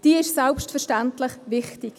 Das ist selbstverständlich wichtig.